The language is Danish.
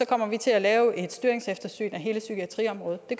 kommer vi til at lave et styringseftersyn af hele psykiatriområdet det